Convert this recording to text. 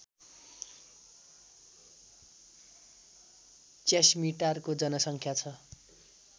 च्यास्मिटारको जनसङ्ख्या छ